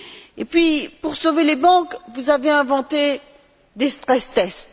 Et puis, pour sauver les banques, vous avez inventé des stress tests